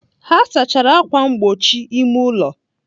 Ha saachara ákwà mgbochi ime ụlọ.